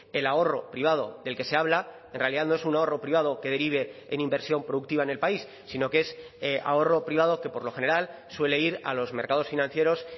el ahorro privado del que se habla en realidad no es un ahorro privado que derive en inversión productiva en el país sino que es ahorro privado que por lo general suele ir a los mercados financieros